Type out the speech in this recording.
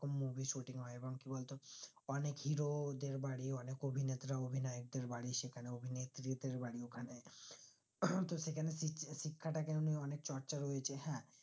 movie shooting হয় এবং কি বলতো অনিক hero দেড় বাড়ি অনিক অভিনেত্র অধিনায়ক দেড় বাড়ির সেখানে অভিনেত্রীদের বাড়ি ওখানে তো সেখানে শিশিক্ষা টাকে আমি অনিক চর্চা রয়েছে হ্যাঁ